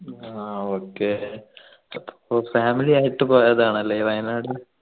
ആഹ് okay അപ്പൊ ആയിട്ട് പോയതാണല്ലേ വയനാട്